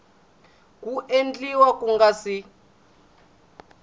ku endliwa ku nga si